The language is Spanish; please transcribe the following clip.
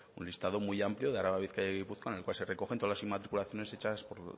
un listado muy amplio de araba bizkaia y gipuzkoa en el cual se recogen todas las inmatriculaciones hechas por